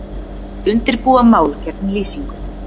Undirbúa mál gegn Lýsingu